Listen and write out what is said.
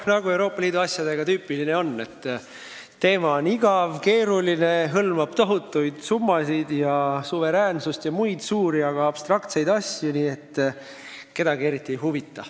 Nagu Euroopa Liidu asjade puhul tüüpiline on: teema on igav, keeruline, hõlmab tohutuid summasid ja riikide suveräänsust ja muid suuri, aga abstraktseid asju, nii et kedagi eriti ei huvita.